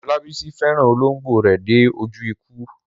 Olabisi fẹ́ràn olóńgbò rẹ̀ dé ojú ikú.